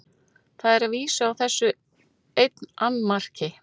Það er að vísu á þessu einn annmarki.